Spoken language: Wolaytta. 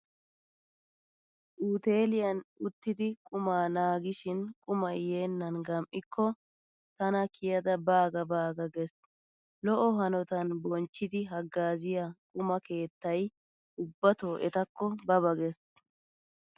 Uteeliyan uttidi qumaa naagishin qumay yeennan gam'ikko tana kiyada baaga baaga gees. Lo'o hanotan bonchchidi haggaaziya quma keettay ubbato etakko ba ba gees.